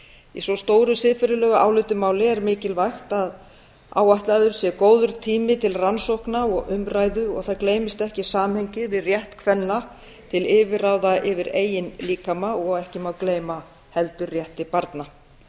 í svo stóru siðferðilegu álitamáli er mikilvægt að áætlaður sé góður tími til rannsókna og umræðu og það gleymist ekki samhengið við rétt kvenna til yfirráða yfir eigin líkama og ekki má gleyma heldur rétti barna